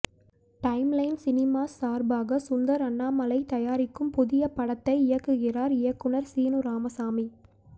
time line Cinemas சார்பாக சுந்தர் அண்ணாமலை தயாரிக்கும் புதிய படத்தை இயக்குகிறார் இயக்குனர் சீனு ராமசாமி